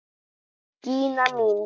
Gína mín!